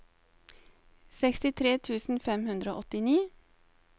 sekstitre tusen fem hundre og åttini